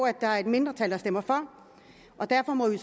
at der er et mindretal der stemmer for og derfor må vi